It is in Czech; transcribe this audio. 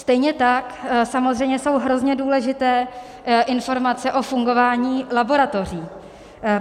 Stejně tak samozřejmě jsou hrozně důležité informace o fungování laboratoří.